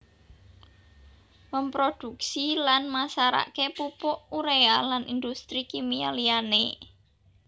Memproduksi lan masarake pupuk urea lan industri kimia liyane